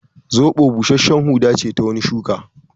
Zoɓo busashshen huda ce ta wani shuka